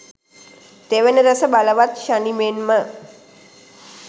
තෙවන රැස බලවත් ශනි මෙන්ම